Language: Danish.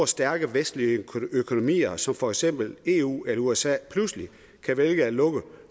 stærke vestlige økonomier som for eksempel eu eller usa pludselig kan vælge at lukke